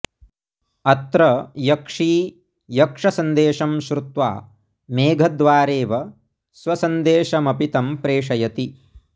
अत्र यक्षी यक्षसन्देशं श्रुत्वा मेघद्वारेव स्वसन्देशमपि तं प्रेषयति